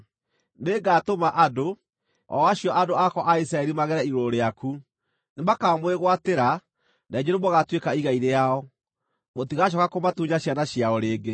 Nĩngatũma andũ, o acio andũ akwa a Isiraeli magere igũrũ rĩaku. Nĩmakamwĩgwatĩra, na inyuĩ nĩmũgatuĩka igai rĩao; mũtigacooka kũmatunya ciana ciao rĩngĩ.